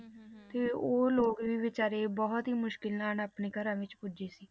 ਤੇ ਉਹ ਲੋਕ ਵੀ ਬੇਚਾਰੇ ਬਹੁਤ ਹੀ ਮੁਸ਼ਕਲ ਨਾਲ ਆਪਣੇ ਘਰਾਂ ਵਿੱਚ ਪੁੱਜੇ ਸੀ।